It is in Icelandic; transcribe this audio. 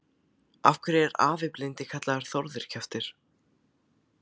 Af hverju er afi blindi kallaður Þórður kjaftur?